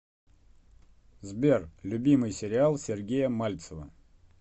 сбер любимый сериал сергея мальцева